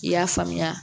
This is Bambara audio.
I y'a faamuya